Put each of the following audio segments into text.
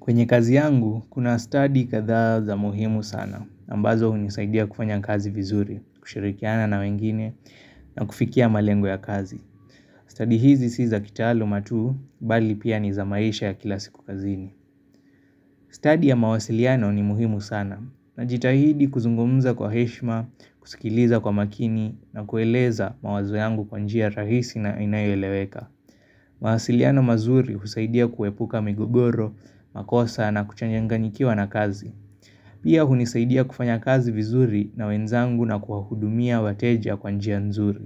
Kwenye kazi yangu, kuna stadi kadhaa za muhimu sana, na ambazo hunisaidia kufanya kazi vizuri, kushirikiana na wengine, na kufikia malengo ya kazi. Stadi hizi si za kitaaluma tu, bali pia ni za maisha ya kila siku kazini. Stadi ya mawasiliano ni muhimu sana, najitahidi kuzungumza kwa heshima, kusikiliza kwa makini, na kueleza mawazo yangu kwa njia rahisi na inayo eleweka. Mawasiliano mazuri husaidia kuepuka migogoro, makosa na kuchanyanganyikiwa na kazi Pia hunisaidia kufanya kazi vizuri na wenzangu na kuwahudumia wateja kwa njia nzuri.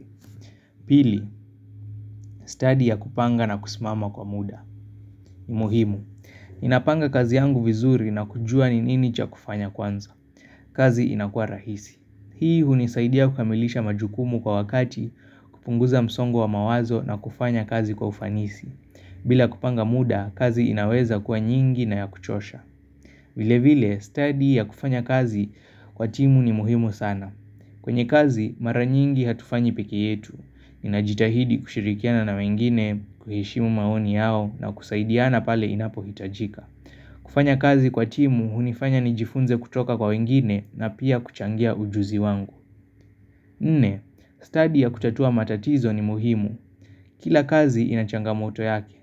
Pili, stadi ya kupanga na kusimama kwa muda ni muhimu, ninapanga kazi yangu vizuri na kujua ni nini cha kufanya kwanza kazi inakua rahisi. Hii hunisaidia kukamilisha majukumu kwa wakati kupunguza msongo wa mawazo na kufanya kazi kwa ufanisi bila kupanga muda, kazi inaweza kuwa nyingi na ya kuchosha. Vile vile, stadi ya kufanya kazi kwa timu ni muhimu sana. Kwenye kazi, mara nyingi hatufanyi peke yetu. Ninajitahidi kushirikiana na wengine, kuheshimu maoni yao na kusaidiana pale inapo hitajika. Kufanya kazi kwa timu, hunifanya nijifunze kutoka kwa wengine na pia kuchangia ujuzi wangu. Nne, stadi ya kutatua matatizo ni muhimu. Kila kazi ina changamoto yake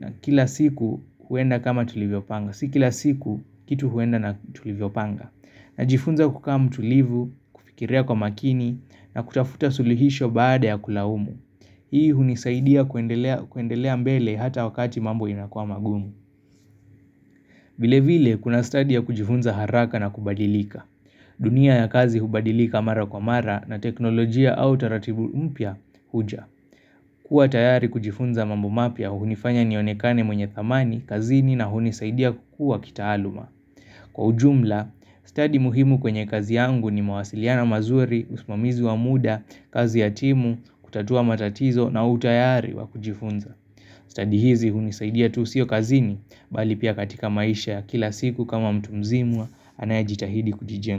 na kila siku huenda kama tulivyopanga Si kila siku kitu huenda na tulivyopanga Najifunza kukaa mtulivu, kufikiria kwa makini na kutafuta sulihisho baada ya kulaumu Hii hunisaidia kuendelea mbele hata wakati mambo inakua magumu vile vile kuna stadi ya kujifunza haraka na kubadilika dunia ya kazi hubadilika mara kwa mara na teknolojia au taratibu mpya huja kuwa tayari kujifunza mambo mapya hunifanya nionekane mwenye thamani, kazini na hunisaidia kukua kitaaluma. Kwa ujumla, stadi muhimu kwenye kazi yangu ni mawasiliano mazuri, usimamizi wa muda, kazi ya timu, kutatua matatizo na utayari wa kujifunza. Stadi hizi hunisaidia tu sio kazini, bali pia katika maisha ya kila siku kama mtu mzima anayejitahidi kujijenga.